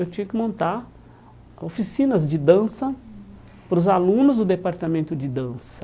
Eu tinha que montar oficinas de dança para os alunos do departamento de dança.